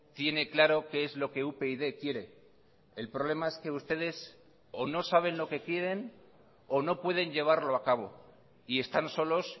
tiene claro qué es lo que upyd quiere el problema es que ustedes o no saben lo que quieren o no pueden llevarlo a cabo y están solos